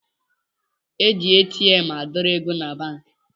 E ji ATM adọrọ ego na banki